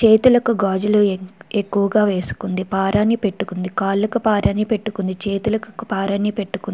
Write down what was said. చేతులకు గాజులు ఎక్ ఎక్కువగా వేసుకుంది. పారాని పెట్టుకుంది. కాళ్ళకు పారని పెట్టుకుంది. చేతులకు పారని పెట్టుకుంది.